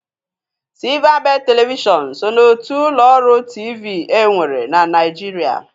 Silvabedị Televishọn so n'otu ụlọ ọrụ TV e nwere na Naịjirịa.